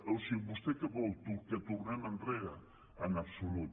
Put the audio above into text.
o sigui vostè què vol que tornem enrere en absolut